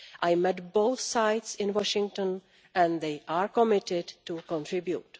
I met both sides in Washington, and they are committed to contribute.